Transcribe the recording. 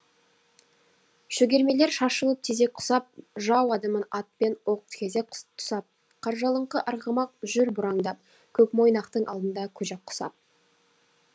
шөгермелер шашылып тезек құсап жау адымын ат пен оқ кезек тұсап қаржалыңқы арғымақ жүр бұраңдап көкмойнақтың алдында көжек құсап